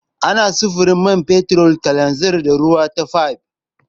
Ana sufurin man fetur, kananzir, da ruwa ta fayif.